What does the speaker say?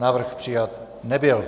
Návrh přijat nebyl.